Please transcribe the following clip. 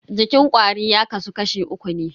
Jikin kwari ya kasu kashi uku ne.